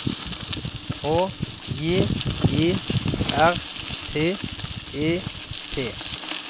H J E R T E T